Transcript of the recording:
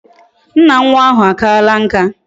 Nna nwa ahu akaala nka